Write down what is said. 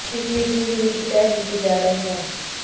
ਇਸ ਮੀਟਿੰਗ ਦੀ ਮਿਤੀ ਤੈਅ ਕੀਤੀ ਜਾ ਰਹੀ ਹੈ